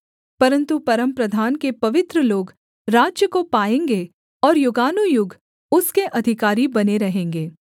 परन्तु परमप्रधान के पवित्र लोग राज्य को पाएँगे और युगानुयुग उसके अधिकारी बने रहेंगे